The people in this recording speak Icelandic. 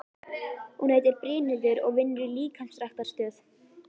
Hún heitir Brynhildur og vinnur í líkamsræktarstöð.